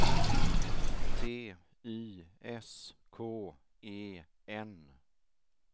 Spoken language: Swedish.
T Y S K E N